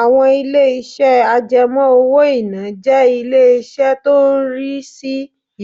Àwọn ilé-iṣẹ́ àjẹmọ́ owó-ìná jẹ́ ilé iṣẹ́ tó ń rí sí